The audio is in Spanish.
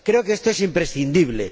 Creo que esto es imprescindible.